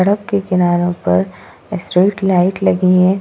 सड़क के किनारो पर स्ट्रीट लाइट लगी है।